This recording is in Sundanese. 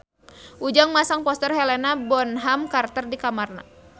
Ujang masang poster Helena Bonham Carter di kamarna